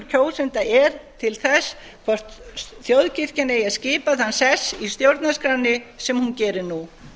kjósenda er til þess hvort þjóðkirkjan eigi að skipa þann sess í stjórnarskránni sem hún gerir nú